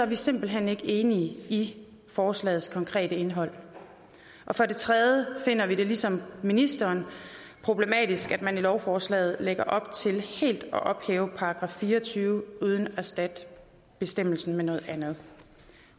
vi simpelt hen ikke enige i forslagets konkrete indhold og for det tredje finder vi det ligesom ministeren problematisk at man i lovforslaget lægger op til helt at ophæve § fire og tyve uden at erstatte bestemmelsen med noget andet